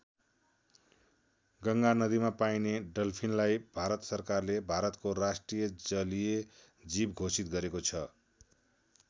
गङ्गा नदीमा पाइने डल्फिनलाई भारत सरकारले भारतको राष्ट्रिय जलीय जीव घोषित गरेको छ।